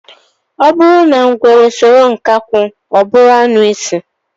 O buru na ngwere soro nkakwu, oburu anuisi